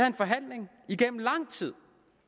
en forhandling igennem lang tid